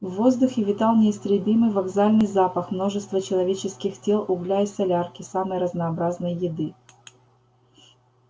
в воздухе витал неистребимый вокзальный запах множества человеческих тел угля и солярки самой разнообразной еды